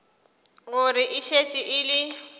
gore e šetše e le